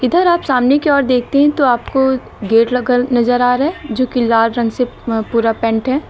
इधर आप सामने की ओर देखते है तो आपको गेट लगल नजर आ रहा है जो कि लाल रंग से पूरा पेंट है।